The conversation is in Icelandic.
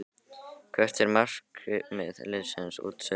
Hvert er markmið liðsins út sumarið?